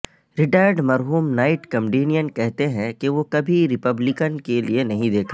retired مرحوم night comedian کہتے ہیں کہ وہ کبھی ریپبلکن کے لئے نہیں دیکھا